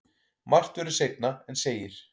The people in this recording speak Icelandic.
Margt verður seinna en segir.